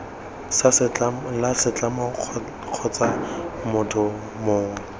la setlamo kgotsa motho mongwe